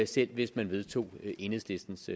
selv hvis man vedtog enhedslistens